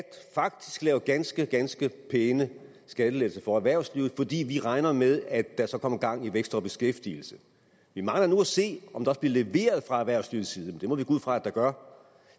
lave ganske ganske pæne skattelettelser for erhvervslivet fordi vi regner med at der så kommer gang i vækst og beskæftigelse vi mangler nu at se om der bliver leveret fra erhvervslivets side men det må vi gå ud fra at der gør